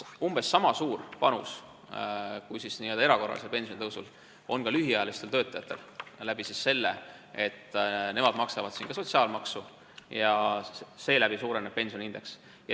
Umbes sama suure panuse, mille annab erakorraline pensionitõus, annavad ka lühiajalised töötajad ning seda seetõttu, et nemad maksavad siin ka sotsiaalmaksu ja seeläbi suureneb pensioniindeks.